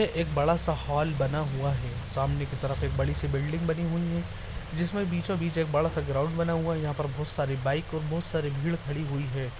यह एक बड़ा सा हॉल बना हुआ है। सामने के तरफ एक बड़ी सी बिल्डिंग बनी हुई है जिसमें बीचों बीच एक बड़ा सा ग्राउंड बना हुआ है जहां पर बोहोत सारी बाइक और बहुत सारी भीड़ खड़ी हुई है।